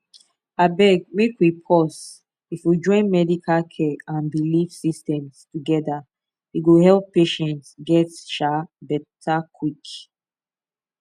abeg make we pause if we join medical care and belief systems together e go help patients get um better quick